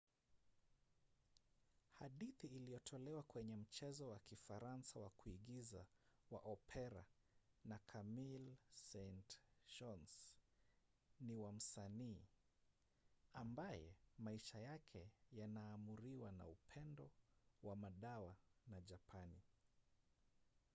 hadithi iliyotolewa kwenye mchezo wa kifaransa wa kuigiza wa opera na camille saint-saens ni wa msanii ambaye maisha yake yanaamuriwa na upendo wa madawa na japani